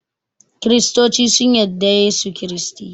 kiristoci sun yadda da Yesu kiristi